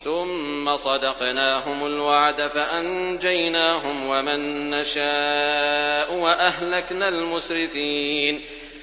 ثُمَّ صَدَقْنَاهُمُ الْوَعْدَ فَأَنجَيْنَاهُمْ وَمَن نَّشَاءُ وَأَهْلَكْنَا الْمُسْرِفِينَ